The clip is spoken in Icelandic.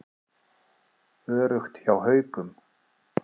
Öruggt hjá Haukum